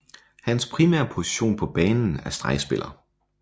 Hans primære position på banen er stregspiller